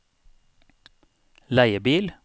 leiebil